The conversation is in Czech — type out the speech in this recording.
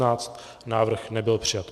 Návrh nebyl přijat.